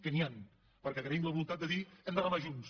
que n’hi han perquè agraïm la voluntat de dir hem de remar junts